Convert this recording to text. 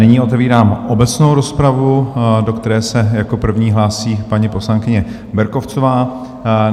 Nyní otevírám obecnou rozpravu, do které se jako první hlásí paní poslankyně Berkovcová.